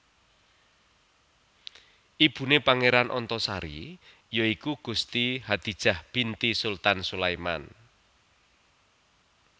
Ibune Pangeran Antasari ya iku Gusti Hadijah binti Sultan Sulaiman